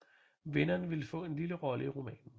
Vinderen ville få en lille rolle i romanen